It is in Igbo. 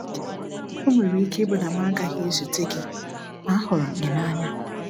O nwere ike ịbụ na m agaghị ezute gị, ma ahurum gị na anya.